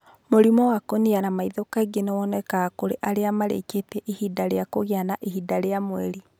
Mũrimũ wa kũniara maitho kaingĩ nĩ wonekaga kũrĩ arĩa marĩĩkĩtie ihinda rĩa kũgĩa na ihinda rĩa mweri.